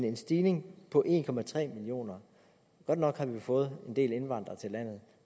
en stigning på en millioner godt nok har vi fået en del indvandrere til landet